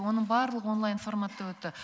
оның барлығы онлайн форматта өтті